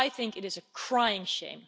It is a crying shame.